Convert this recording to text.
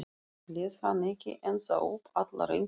Les hann ekki ennþá upp allar einkunnir?